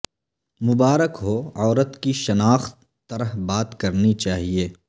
مبارک ہو عورت کی شناخت طرح بات کرنی چاہیے